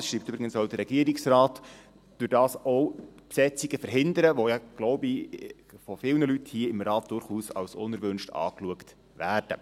Man kann – das schreibt übrigens auch der Regierungsrat – dadurch auch Besetzungen verhindern, die ja, glaube ich, von vielen Leuten hier in diesem Saal durchaus als unerwünscht angeschaut werden.